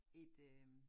Et øh